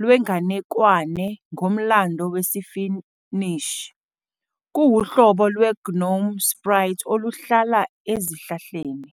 lwenganekwane ngomlando wesiFinnish. Kuwuhlobo lwe- gnome sprite oluhlala ezihlahleni.